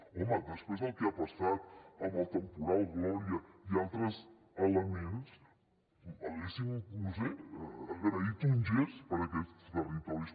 home després del que ha passat amb el temporal gloria i altres elements haguéssim no ho sé agraït un gest per a aquests territoris